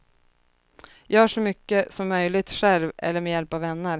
Gör så mycket som möjligt själv eller med hjälp av vänner.